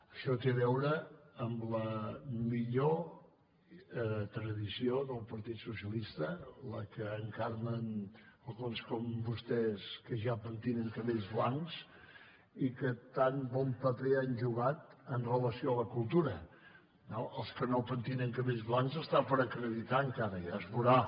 això té a veure amb la millor tradició del partit socialista la que encarnen alguns com vostès que ja pentinen cabells blancs i que tan bon paper han jugat en relació amb la cultura no els que no pentinen cabells blancs està per acreditar encara ja es veurà